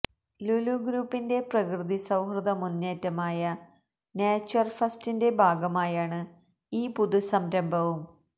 ലുലു ഗ്രൂപ്പിന്റെ പ്രകൃതിസൌഹൃദ മുന്നേറ്റമായ നേച്ചര് ഫസ്റ്റിന്റെ ഭാഗമായാണ് ഈ പുതുസംരംഭവും